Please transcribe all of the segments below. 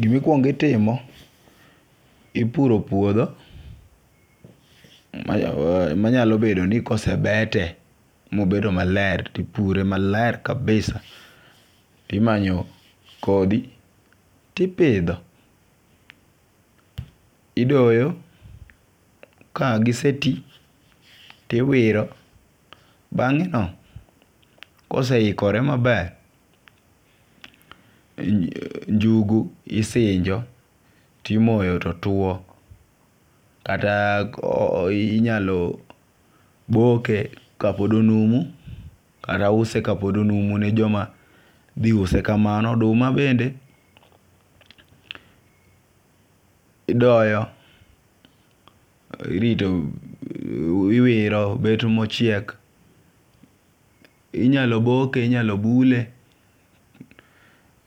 Gimikuong itimo ,ipuro puodho manyalo bedo ni kosebete mobedo maler tipure maler kabisa , timanyo kodhi tipidho, idoyo ka gisetii tiwiro . Bang'e no koseikore maber , njugu isinjo timoyo to two kata inyalo boke kapod onumu kata use kapod onumu ne joma dhi use kamano . Oduma bende idoyo irito , iwiro bet mochiek .Inyalo boke inyalo bule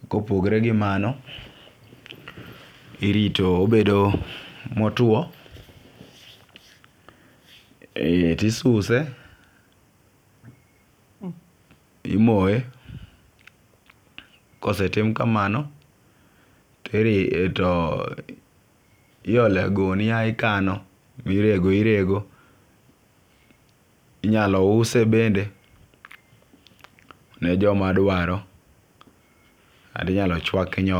kopogre gi mano irito obedo motwo e tisuse , imoye . Kosetim kamano ti to iole gunia ikano mirego irego. Inyalo use bende ne joma dwaro kata inyalo chwak nyoyo.